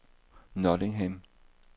Nottingham